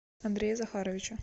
андрея захаровича